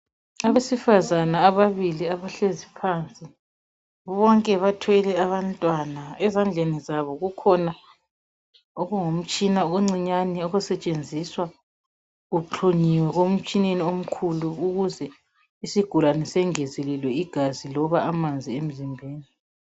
abesifazana ababili abahlezi phansi bonke bathwele abantwana ezandleni zabo kukhona okungumtshina oncinyane okusetshensiswa kuxhunyiwe emtshineni omkhulu isigulane singezelelwe igazi noma amanzi emzimbeni